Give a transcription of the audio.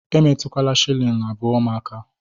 Emetụkwala shilling abụọ m aka.!